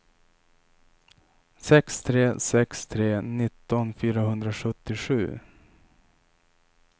sex tre sex tre nitton fyrahundrasjuttiosju